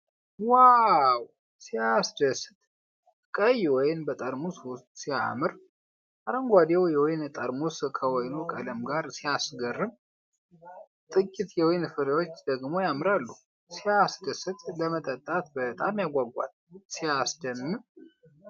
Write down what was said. ዋው! ሲያስደስት! ቀይ ወይን በጠርሙስውስጥ ሲያምር! አረንጓዴው የወይን ጠርሙስ ከወይኑ ቀለም ጋር ሲያስገርም! ጥቂት የወይን ፍሬዎች ደግሞ ያምራሉ። ሲያስደስት! ለመጠጣት በጣም ያጓጓል። ሲያስደምም!